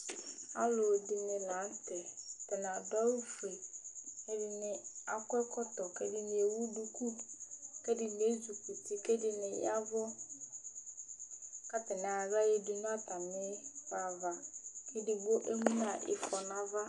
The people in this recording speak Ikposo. Alʋɛdìní la ntɛ Atani adu awu fʋe Ɛdiní akɔ ɛkɔtɔ kʋ ɛdiní ɛwu dʋku kʋ ɛdiní ezi kʋti kʋ ɛdiní yaw avʋ kʋ atani ayɔ aɣla yadu nʋ atami ɣla ava kʋ ɛdigbo emu nu ifɔ nʋ ava